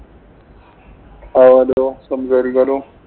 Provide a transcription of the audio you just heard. ആവാലോ. സംസാരിക്കാലോ.